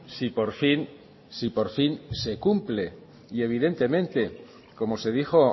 si por fin si por fin se cumple y evidentemente como se dijo